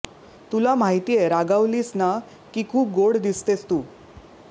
तुला माहितीये रागावलीस ना की खुप गोड दिसतेस तू